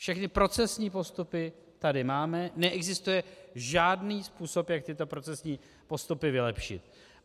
Všechny procesní postupy tady máme, neexistuje žádný způsob, jak tyto procesní postupy vylepšit.